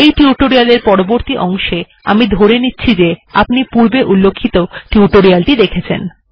এই টিউটোরিয়াল এর পরবর্তী অংশে আমি ধরে নিচ্ছি যে আপনি পূর্বে উল্লিখিত টিউটোরিয়াল টি দেখেছেন